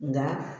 Nka